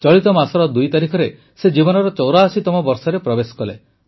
ଚଳିତ ମାସ ୨ ତାରିଖରେ ସେ ଜୀବନର ୮୪ତମ ବର୍ଷରେ ପ୍ରବେଶ କଲେ